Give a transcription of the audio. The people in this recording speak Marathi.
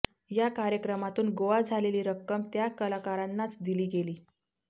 या कार्यक्रमातून गोळा झालेली रक्कम त्या कलाकारांनाच दिली गेली